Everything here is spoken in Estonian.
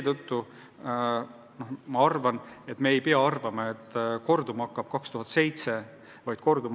Usun, et me ei pea arvama, et kordub aastal 2007 toimunu.